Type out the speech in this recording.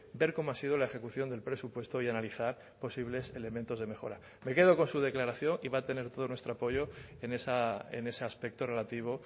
ver cómo ha sido la ejecución del presupuesto y analizar posibles elementos de mejora me quedo con su declaración y va a tener todo nuestro apoyo en ese aspecto relativo